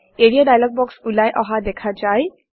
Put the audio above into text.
area dialog box ওলাই অহা দেখা যায়